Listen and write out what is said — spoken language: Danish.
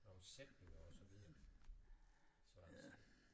Nogle sætninger og så videre så altså